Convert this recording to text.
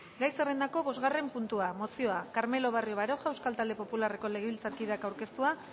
gai zerrendako bosgarren puntua mozioa carmelo barrio baroja euskal talde popularreko legebiltzarkideak aurkeztua